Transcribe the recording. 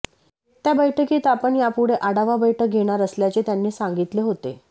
त्या बैठकीत आपण यापुढे आढावा बैठक घेणार असल्याचे त्यांनी सांगितले होते